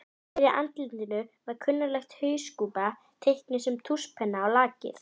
Fyrir andlitinu var klunnaleg hauskúpa, teiknuð með tússpenna á lakið.